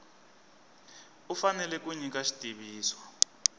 u fanele ku nyika xitiviso